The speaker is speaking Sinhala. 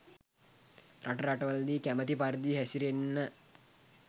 රට රටවලදී කැමති පරිදි හැසිරෙන්න